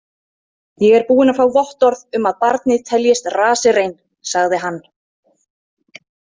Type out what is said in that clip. „Ég er búinn að fá vottorð um að barnið teljist“ raserein, „sagði hann.